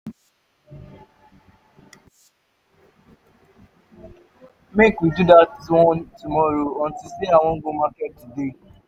make we do dat one tomorrow unto say i wan go market today